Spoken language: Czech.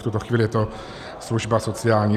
V tuto chvíli je to služba sociální.